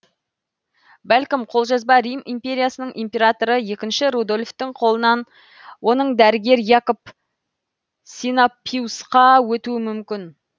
бәлкім қолжазба рим империясының императоры екінші рудольфтің қолынан оның дәрігері якоб синапиусқа өтуі мүмкін